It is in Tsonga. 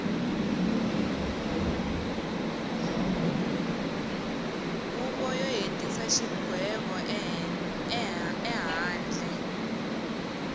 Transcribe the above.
huvo yo hetisa xigwevo ehandle